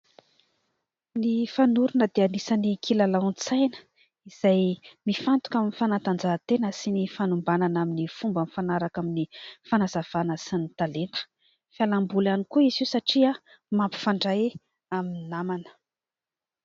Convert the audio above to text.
Ny fanorona dia anisany kilalaon-tsaina izay mifantoka amin'ny fanatanjahatena sy ny fanombanana amin'ny fomba mifanaraka amin'ny fanazavana sy ny talenta. Fialam-boly ihany koa izy io satria mampifandray amin'ny namana.